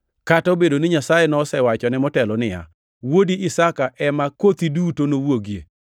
kata obedo ni Nyasaye nosewachone motelo niya, “wuodi Isaka ema kothi duto nowuogie.” + 11:18 \+xt Chak 21:12\+xt*